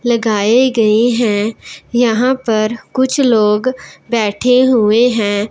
लगाए गए हैं यहां पर कुछ लोग बैठे हुए हैं।